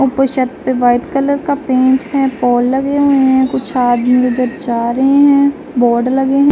White colour का paint है pole लगे हुए है। कुछ आदमी उधर जा रहे है। बोर्ड लगे हुए है।